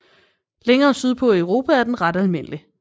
Længere sydpå i Europa er den ret almindelig